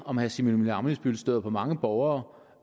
om herre simon emil ammitzbøll støder på mange borgere